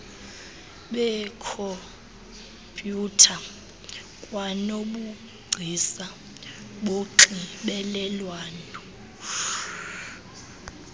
beekhompyutha kwanobugcisa bonxibelelwano